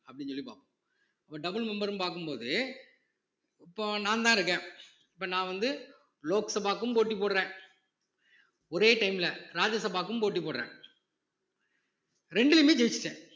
அப்படின்னு சொல்லி பார்ப்போம் இப்போ double member ன்னு பார்க்கும் போது இப்போ நான்தான் இருக்கேன் இப்போ நான் வந்து லோக்சபாக்கும் போட்டி போடுறேன் ஒரே time ல ராஜ்யசபாக்கும் போட்டி போடுறேன் ரெண்டுலயுமே ஜெயிச்சுட்டேன்